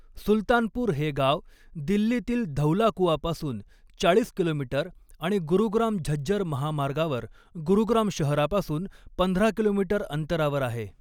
सुलतानपूर हे गाव दिल्लीतील धौलाकुआपासून चाळीस किलोमीटर आणि गुरुग्राम झज्जर महामार्गावर गुरुग्राम शहरापासून पंधरा किलोमीटर अंतरावर आहे.